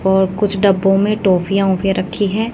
और कुछ डब्बों में टॉफियां वोफियां रखी है।